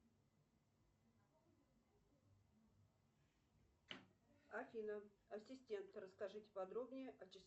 афина ассистент расскажите подробнее о